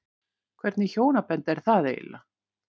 Hvernig hjónaband er það eiginlega?